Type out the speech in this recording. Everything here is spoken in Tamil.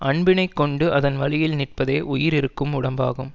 அன்பினைக் கொண்டு அதன் வழியில் நிற்பதே உயிர் இருக்கும் உடம்பாகும்